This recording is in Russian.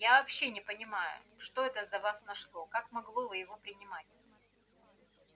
я вообще не понимаю что это за вас нашло как могло вы его принимать